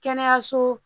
Kɛnɛyaso